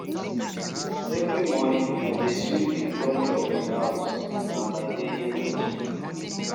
Every morning, I dey sweep di front of di house, na my daily routine